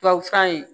Tubabufura in